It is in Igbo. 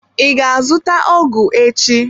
I ga azụta ọgụ echi?